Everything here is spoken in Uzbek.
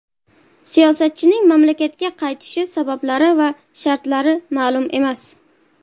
Siyosatchining mamlakatga qaytishi sabablari va shartlari ma’lum emas.